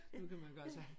Nu kan man gøre så